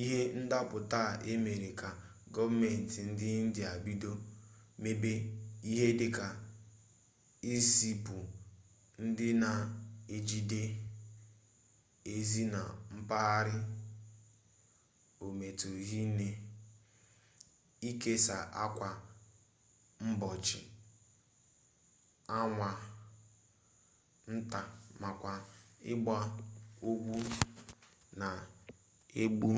ihe ndaputa a emela ka goomenti mba india bido mebe ihe dika izipu ndi na ejide ezi na mpaghara ometuru hinne ikesa akwa mgbochi anwu nta makwa igba ogwu na-egbu